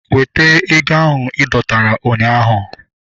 Weta ego ahu idọtara ụnyaahụ!